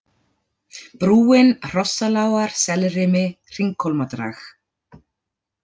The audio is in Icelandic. Brúin, Hrossalágar, Selrimi, Hringhólmadrag